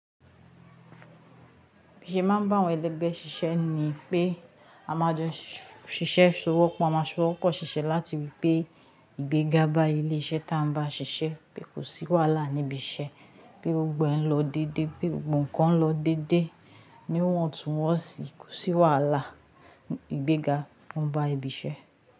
Bi i se ma ba àwọn ẹlẹgbẹ́ ṣiṣẹ́ ni pé a máa jo ṣíṣe, ṣowọ́pọ̀ a máa ṣowọ́pọ̀ ṣiṣẹ́ láti wípé ìgbéga bá ilé iṣẹ́ ta bàá ṣiṣẹ́, pé kò sí wàhálà níbi iṣẹ́, pé gbogbo ẹ́ n lọ dédé, pé gbogbo ǹkan n lọ dédé, níwọn tún wọn sì kò sí wàhálà ìgbéga oún bá ibi iṣẹ́.